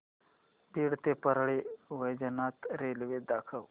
बीड ते परळी वैजनाथ रेल्वे दाखव